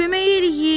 Kömək eləyin!